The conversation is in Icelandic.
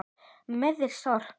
Meðferð sorps